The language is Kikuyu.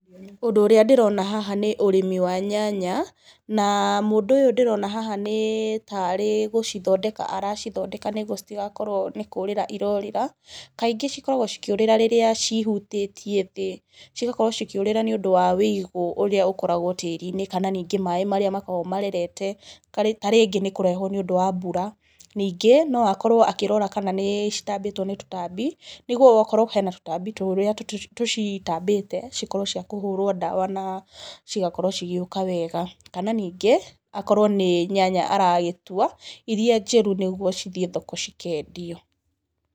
Ũndũ ũrĩa ndĩrona haha nĩ ũrĩmi wa nyanya, na mũndũ ũyũ ndĩrona haha nĩ taarĩ gũcithondeka aracithondeka, nĩguo citigakorwo nĩ kũũrĩra irorĩra, kaingĩ cikoragwo cikĩũrĩra rĩrĩ cihutĩtie thĩ, cigakorwo cikĩũrĩra nĩ ũndũ wa wĩigũ ũrĩa ũkoragwo tĩĩri-inĩ, kana ningĩ maaĩ marĩa makoragwo marerete, tarĩngĩ nĩ kũrehwo nĩ ũndũ wa mbura. Ningĩ, no akorwo akĩrora kana nĩ citambĩtwo nĩ tũtambi, nĩguo wakorwo hena tũtambi tũrĩa tũcitambĩte, cikorwo ciakũhũrwo ndawa na cigakorwo cigĩũka wega. Kana ningĩ, akorwo nĩ nyanya aragĩtua, irĩa njĩru nĩguo cithiĩ thoko cikendio.